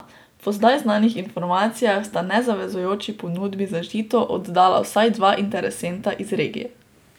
Po zdaj znanih informacijah sta nezavezujoči ponudbi za Žito oddala vsaj dva interesenta iz regije.